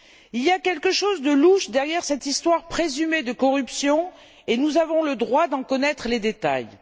Il y a quelque chose de louche derrière cette histoire présumée de corruption et nous avons le droit d'en connaître les détails.